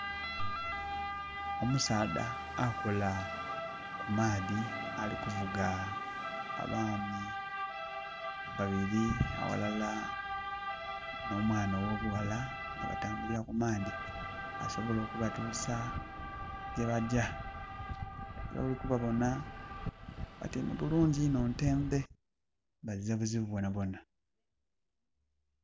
Omusaadha akola ku maadhi alikuvuga abaami babiri awalala no mwana owo bughala nga batambulira ku maadhi asobole kubatuusa ye bajja. Nga wolikubabona batyaime bulungi inho ntende bazira buzibu bwonabwona.